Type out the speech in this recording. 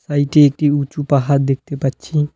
সাইডে একটি উঁচু পাহাড় দেখতে পাচ্ছি।